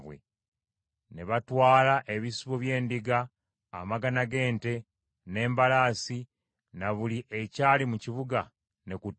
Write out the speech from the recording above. Ne batwala ebisibo by’endiga, amagana g’ente, n’endogoyi, na buli ekyali mu kibuga ne ku ttale.